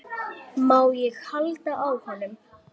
Má ég halda á honum?